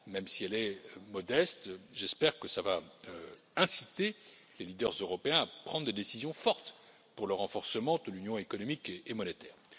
Même si elle est modeste, j'espère que cela va inciter les leaders européens à prendre des décisions fortes pour le renforcement de l'union économique et monétaire.